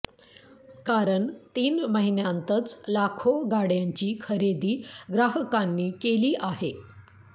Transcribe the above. कारण तीन महिन्यांतच लाखो गाड्यांची खरेदी ग्राहकांनी केली आहे